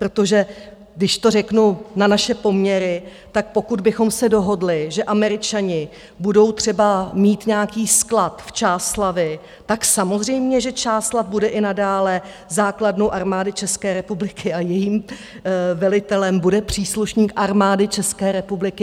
Protože když to řeknu na naše poměry, tak pokud bychom se dohodli, že Američani budou třeba mít nějaký sklad v Čáslavi, tak samozřejmě že Čáslav bude i nadále základnou Armády České republiky a jejím velitelem bude příslušník Armády České republiky.